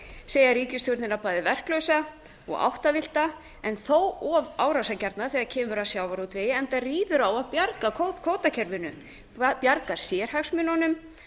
segja ríkisstjórnina bæði verklausa og áttavillta en þó of árásargjarna þegar kemur að sjávarútvegi enda ríður á að bjarga kvótakerfinu bjarga sérhagsmununum